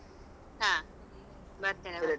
ಹಾ ಬರ್ತೇನೆ ಬರ್ತೇನೆ .